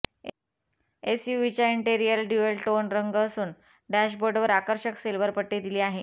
एसयूव्हीच्या इंटीरियरला dual tone रंग असून डॅशबोर्डवर आकर्षक सिल्वर पट्टी दिली आहे